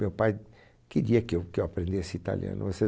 Meu pai queria que eu que eu aprendesse italiano. Mas